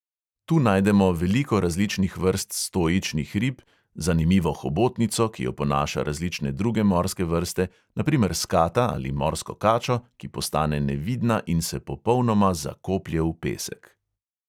Tu najdemo veliko različnih vrst stoičnih rib, zanimivo hobotnico, ki oponaša različne druge morske vrste, na primer skata ali morsko kačo, ki postane nevidna in se popolnoma zakoplje v pesek.